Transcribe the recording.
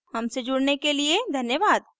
हमसे जुड़ने के लिए धन्यवाद